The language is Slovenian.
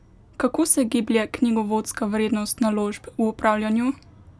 Kako se giblje knjigovodska vrednost naložb v upravljanju?